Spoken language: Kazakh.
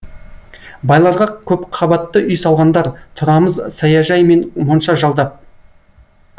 байларға көпқабатты үй салғандар тұрамыз саяжай мен монша жалдап